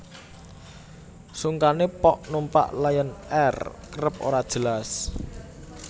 Sungkane pok numpak Lion Air kerep ora jelas